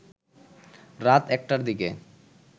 রাত ১টার দিকে